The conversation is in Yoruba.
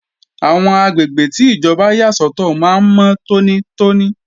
Àwọn àgbègbè tí ìjọba yà sọ́tọ̀ máa ń mọ́ tónítóní